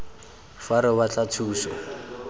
fa fa re batla thuso